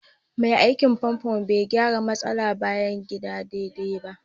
Mai aikin famfo bai gyara matsalar bayan gida daidai ba